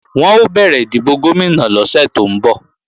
Wọn ó bẹ̀rẹ̀ ìdìbò Gómìnà lọ́sẹ̀ tó ń bọ̀